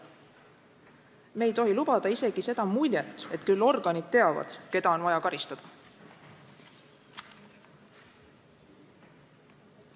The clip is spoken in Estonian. Me ei tohi lubada isegi seda muljet, et küll organid teavad, keda on vaja karistada.